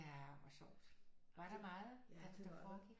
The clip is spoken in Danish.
Ja hvor sjovt var der meget der sådan foregik